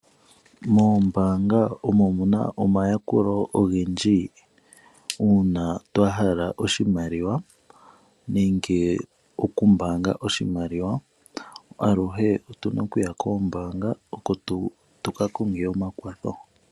Moombaanga omo muna omayakulo ogendji uuna twa hala oshimaliwa nenge oku mbaanga oshimaliwa aluhe otuna okuya koombaanga oko tuka konge omakwatho.